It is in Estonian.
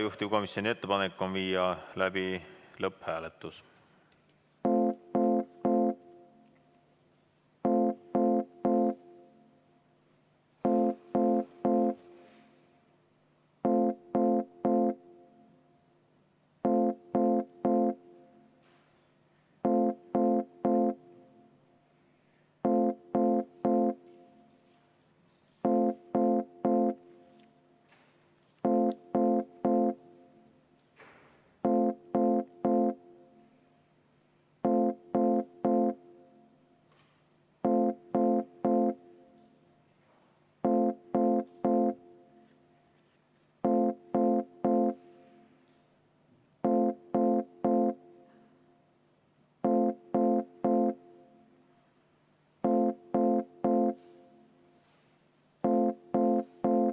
Juhtivkomisjoni ettepanek on viia läbi lõpphääletus.